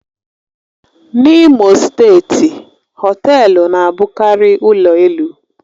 N'Imo steeti, họtelu na-abụkarị ụlọ elu